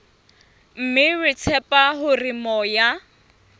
mme re tshepa hore moya